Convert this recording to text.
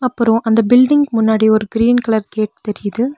அப்றோ அந்த பில்டிங்க்கு முன்னாடி ஒரு கிரீன் கலர் கேட் தெரியிது.